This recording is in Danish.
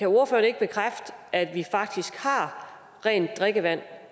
ordfører ikke bekræfte at vi faktisk har rent drikkevand